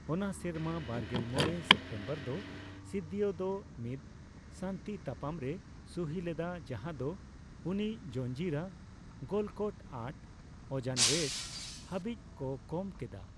ᱚᱱᱟ ᱥᱮᱨᱢᱟ ᱵᱟᱨᱜᱮᱞ ᱢᱚᱲᱮ ᱥᱯᱴᱮᱢᱵᱚᱨ ᱫᱚ ᱥᱤᱫᱫᱤᱭᱚ ᱫᱚ ᱢᱤᱫ ᱥᱟᱹᱱᱛᱤ ᱛᱟᱯᱟᱢ ᱨᱮ ᱥᱩᱦᱤ ᱞᱮᱫᱟ ᱡᱟᱦᱟ ᱫᱚ ᱩᱱᱤ ᱡᱚᱱᱡᱤᱨᱟ, ᱜᱚᱞᱠᱚᱴ ᱟᱴ ᱚᱸᱡᱟᱱᱣᱮᱞ ᱦᱟᱹᱵᱤᱡ ᱠᱚ ᱠᱚᱢ ᱠᱮᱫᱟ᱾